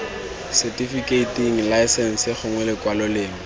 setifikeiting laesense gongwe lekwalo lengwe